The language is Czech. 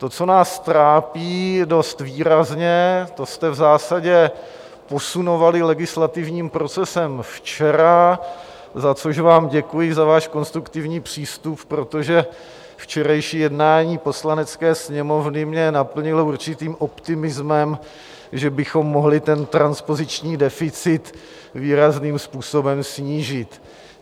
To, co nás trápí dost výrazně, to jste v zásadě posunovali legislativním procesem včera, za což vám děkuji, za váš konstruktivní přístup, protože včerejší jednání Poslanecké sněmovny mě naplnilo určitým optimismem, že bychom mohli ten transpoziční deficit výrazným způsobem snížit.